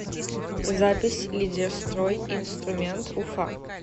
запись лидерстройинструмент уфа